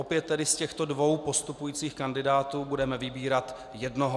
Opět tedy z těchto dvou postupujících kandidátů budeme vybírat jednoho.